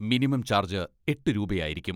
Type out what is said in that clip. Minimum charge എട്ട് രൂപയായിരിക്കും.